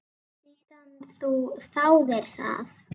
Síðan þú þáðir það?